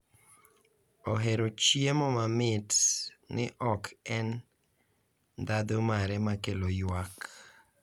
Ohero chiemo mamit ni ok en ndhadhu mare ma kelo ywak